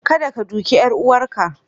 Kadda ka duke 'yar uwarka!